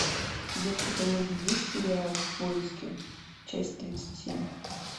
у тебя в каталоге есть сериал в поиске часть тридцать семь